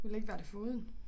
Ville ikke være det foruden